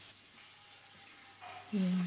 ਹਮ